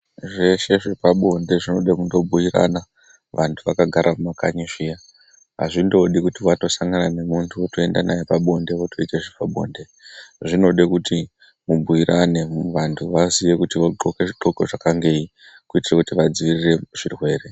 Zveshe zvepabonde zvinode kubuyirana antu akagara mumakanyi ,hazvingode kuti masangane nemuntu wotoenda naye pabonde wotoita zvepabonde. Zvinode kuti mubuyirane vantu vazive kuti vogqoke zvigqoko zvakangeyi kuitira vadziirire zvirwere.